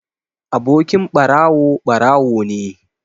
Abokin ɓarawo ɓarawo ne